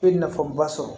I bɛ nafaba sɔrɔ